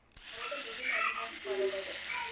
அதிகமா